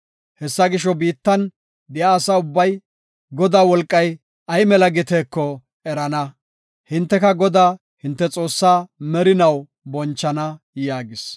Hessa gisho, biittan de7iya asa ubbay, Godaa wolqay ay mela giteeko erana; hinteka Godaa, hinte Xoossaa, merinaw bonchana” yaagis.